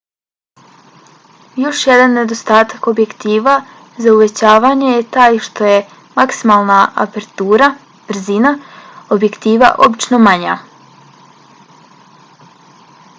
još jedan nedostatak objektiva za uvećavanje je taj što je maksimalna apertura brzina objektiva obično manja